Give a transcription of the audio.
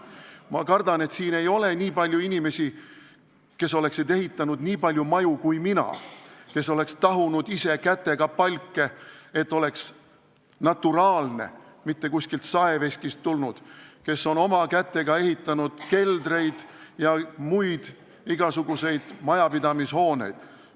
Ma kardan, et siin ei ole selliseid inimesi, kes oleksid ehitanud nii palju maju kui mina, kes oleksid ise käsitsi tahunud palke, et oleks naturaalne, mitte kuskilt saeveskist tulnud, kes oleksid oma kätega ehitanud keldreid ja igasuguseid muid majapidamishooneid.